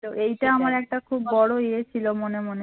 তো এইটা আমার একটা খুব বড় ইয়ে ছিল মনে মনে